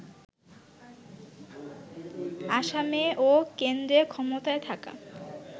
আসামে ও কেন্দ্রে ক্ষমতায় থাকা